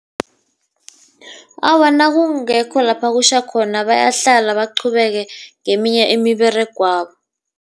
Awa, nakungekho lapha kutjha khona bayahlala baqhubeke ngeminye imiberegwabo.